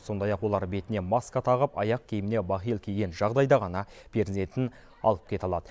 сондай ақ олар бетіне маска тағып аяқ киіміне бахил киген жағдайда ғана перзентін алып кете алады